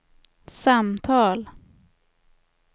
samtal